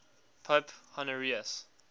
pope honorius